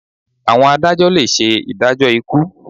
Àwọn adájọ́ le ṣe ìdájọ́ ikú.